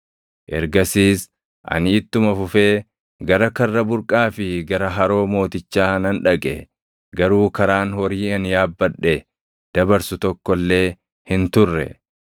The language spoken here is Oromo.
Ergasiis ani ittuma fufee gara Karra Burqaa fi gara Haroo mootichaa nan dhaqe; garuu karaan horii ani yaabbadhe dabarsu tokko illee hin turre;